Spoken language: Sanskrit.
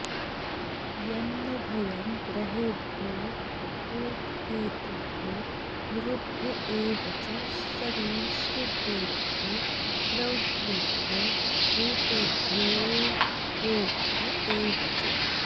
यन् नो भयं ग्रहेभ्योऽभूत्केतुभ्यो नृभ्य एव च सरीसृपेभ्यो दंष्ट्रिभ्यो भूतेभ्योऽंहोभ्य एव च